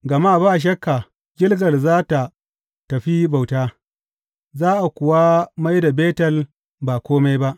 Gama ba shakka Gilgal za tă tafi bauta, za a kuwa mai da Betel ba kome ba.